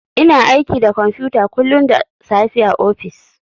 Ina aiki da kwamfuta kullun da safe a ofis.